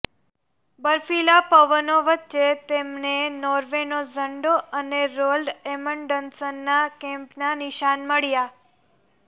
બર્ફીલા પવનો વચ્ચે તેમને નોર્વેનો ઝંડો અને રોલ્ડ એમન્ડસનના કેમ્પનાં નિશાન મળ્યાં